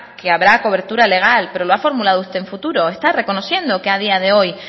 que habrá cobertura legal pero lo ha formulado usted en futuro está reconociendo que a día de hoy